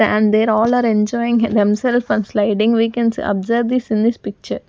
And they all are enjoying themselves on sliding we can observe this in this picture.